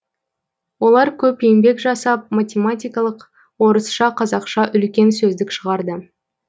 олар көп еңбек жасап математикалық орысша қазақша үлкен сөздік шығарды